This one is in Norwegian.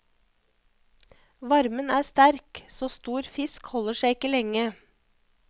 Varmen er sterk, så stor fisk holder seg ikke lenge.